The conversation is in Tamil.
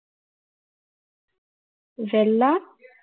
வெள்ளா~